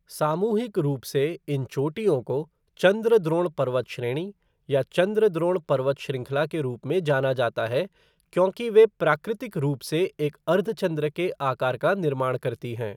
सामूहिक रूप से, इन चोटियों को चंद्रद्रोण पर्वत श्रेणी या चंद्रद्रोण पर्वत श्रृंखला के रूप में जाना जाता है क्योंकि वे प्राकृतिक रूप से एक अर्धचंद्र के आकार का निर्माण करती हैं।